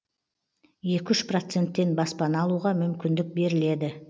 екі үш процентпен баспана алуға мүмкіндік беріледі